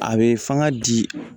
A bɛ fanga di